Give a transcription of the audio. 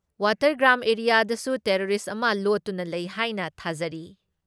ꯋꯥꯇꯔꯒ꯭ꯔꯥꯝ ꯑꯦꯔꯤꯌꯥꯗꯁꯨ ꯇꯦꯔꯣꯔꯤꯁ ꯑꯃ ꯂꯣꯠꯇꯨꯅ ꯂꯩ ꯍꯥꯏꯅ ꯊꯥꯖꯔꯤ ꯫